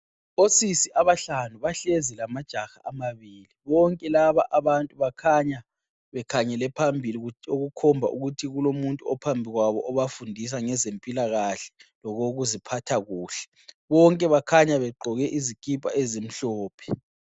Osisi abahlanu bahlezi lamajaha amabili bonke laba abantu bakhanya bekhangele phambili okukhomba ukuthi kulomuntu ophambi kwabo obafundisa ngezempilakahle lokokuziphatha kuhle bonke bakhanya begqoko izikipa ezimhlophe.